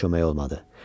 Yenə kömək olmadı.